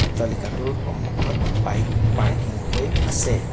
আট্টালিকাটোৰ সন্মুখত bike parking হৈ আছে।